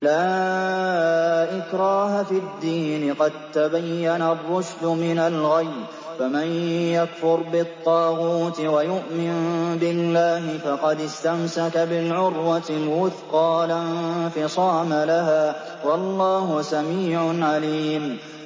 لَا إِكْرَاهَ فِي الدِّينِ ۖ قَد تَّبَيَّنَ الرُّشْدُ مِنَ الْغَيِّ ۚ فَمَن يَكْفُرْ بِالطَّاغُوتِ وَيُؤْمِن بِاللَّهِ فَقَدِ اسْتَمْسَكَ بِالْعُرْوَةِ الْوُثْقَىٰ لَا انفِصَامَ لَهَا ۗ وَاللَّهُ سَمِيعٌ عَلِيمٌ